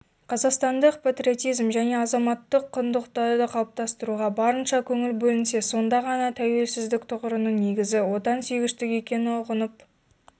қазақстандық патриотизмжәне азаматтыққұндылықтарды қалыптастыруға барынша көңіл бөлінсе сонда ғана тәуелсіздік тұғырының негізі отансүйгіштік екенін ұғынып